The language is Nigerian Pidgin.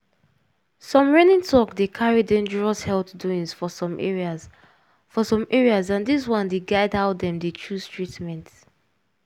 some reigning talk dey carry dangerous health doings for some areas for some areas and dis one dey guide how dem dey chose treatment.